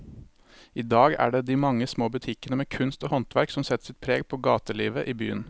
I dag er det de mange små butikkene med kunst og håndverk som setter sitt preg på gatelivet i byen.